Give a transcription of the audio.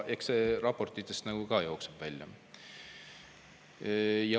Eks see raportitest nagu ka jookseb välja.